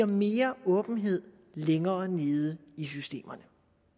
mere åbenhed længere nede i systemerne